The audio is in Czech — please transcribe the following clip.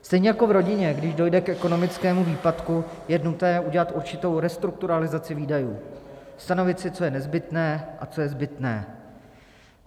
Stejně jako v rodině, když dojde k ekonomickému výpadku, je nutné udělat určitou restrukturalizaci výdajů, stanovit si, co je nezbytné a co je zbytné.